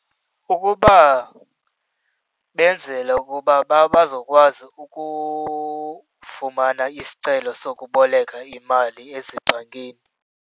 Ukuba, benzela ukuba bazokwazi fumana isicelo sokuboleka imali ezingxakini.